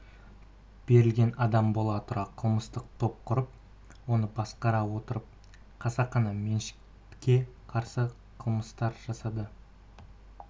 берілген адам бола тұра қылмыстық топ құрып оны басқара отырып қасақана меншікке қарсы қылмыстар жасады